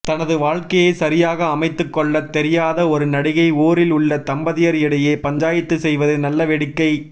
தனது வாழ்க்கையை சரியாக அமைத்துக் கொள்ளத் தெரியாத ஒரு நடிகை ஊரில் உள்ள தம்பதியர் இடையே பஞ்சாயத்து செய்வது நல்லவேடிக்கை